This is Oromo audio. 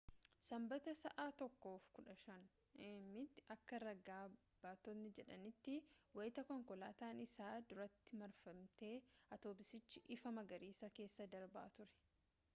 sanbata sa’a 1:15 a.m tti akka raga baatotni jedhanitti wayita konkolaataan isa duratti marfate atoobisichi ifa magariisaa keessa darbaa ture